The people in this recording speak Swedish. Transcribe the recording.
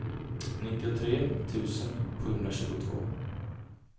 nittiotre tusen sjuhundratjugotvå